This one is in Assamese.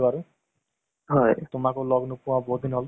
তহ এতিয়া কি চলি আছে জীৱনত কোৱা।